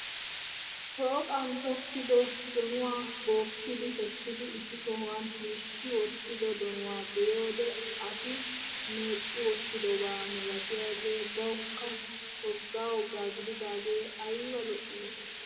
Shooqan tokkido donuwa bookidi kessidi issi sohuwan shiishshi wottido donuwa be'iyoode asi meecci wottidoba milatiyaagee bawukka wogga wogga gididaagee ayiba lo'i!